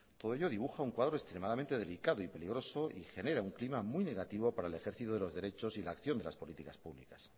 todo ello dibuja un cuadro extremadamente delicado y peligroso y genera un clima muy negativo para el ejercicio de los derechos y la acción de las políticas públicas